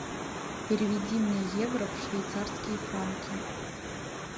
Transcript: переведи мне евро в швейцарские франки